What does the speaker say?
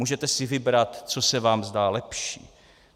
Můžete si vybrat, co se vám zdá lepší.